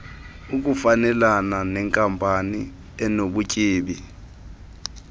ukufanelana nenkampani enobutyebi